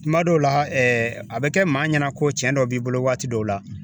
Kuma dɔw la, a bɛ kɛ maa ɲɛna ko cɛn dɔ b'i bolo waati dɔw la.